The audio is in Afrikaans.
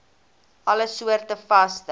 alle soorte vaste